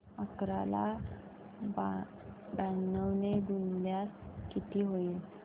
अकरा ला ब्याण्णव ने गुणल्यास किती होतील